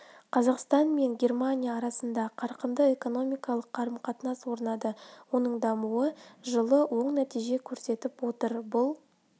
қазақстан мен германия арасында қарқынды экономикалық қарым-қатынас орнады оның дамуы жылы оң нәтиже көрсетіп отыр бұл